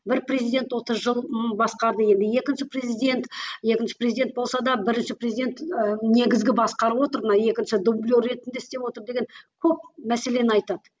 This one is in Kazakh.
бір президент отыз жыл м басқарды енді екінші президент екінші президент болса да бірінші президент ы негізгі басқарып отыр мына екінші дублер ретінде істеп отыр деген көп мәселені айтады